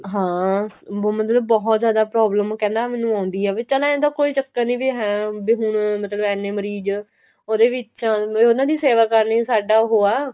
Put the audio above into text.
ਹਾਂ ਵੀ ਮਤਲਬ ਬਹੁਤ ਜਿਆਦਾ problem ਕਹਿੰਦਾ ਮੈਨੂੰ ਆਉਂਦੀ ਆ ਵੀ ਚੱਲ ਏਂ ਤਾਂ ਕੋਈ ਚੱਕਰ ਨੀ ਏ ਵੀ ਹੁਣ ਮਤਲਬ ਇੰਨੇ ਮਰੀਜ਼ ਉਹਦੇ ਵਿੱਚ ਉਹਨਾ ਦੀ ਸੇਵਾ ਕਰਨੀ ਸਾਡਾ ਉਹ ਆ